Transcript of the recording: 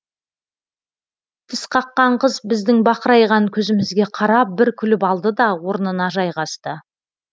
тісқаққан қыз біздің бақырайған көзімізге қарап бір күліп алды да орнына жайғасты